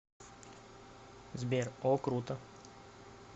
сбер о круто